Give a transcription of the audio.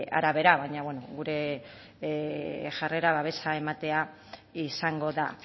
arabera baina beno gure jarrera babesa ematea izango da